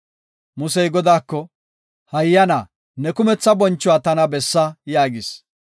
Musey Godaako, “Hayyana ne kumetha bonchuwa tana bessa?” yaagis.